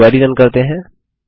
अब query run करते हैं